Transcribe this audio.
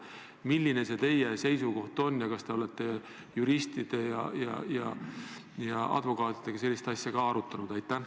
Milline teie seisukoht on ja kas te olete juristide ja advokaatidega sellist probleemi ka arutanud?